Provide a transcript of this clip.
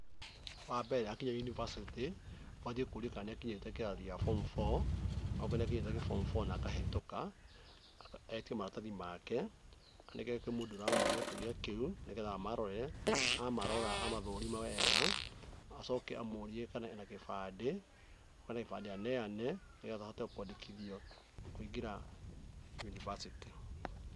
Wa mbere akinya yunivasĩtĩ, manjie kũrĩa kana nĩakinyĩre kĩrathi kĩa Form Four. Auga ni akinyĩte kĩa Form Four na akahetũka, eke maratathi make, anengere mũndũ ũrĩa ũramũria kĩũria kĩu nĩ getha amarore. Amarora amathũrime wega, acoke amũrie kana ena kĩbandĩ. Okorwo ena kĩbandĩ aneane, nĩ getha ahote kwandĩkithio kũingĩra yunivasĩtĩ.